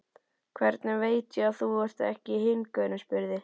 Hvernig veit ég að þú ert ekki hinn gaurinn, spurði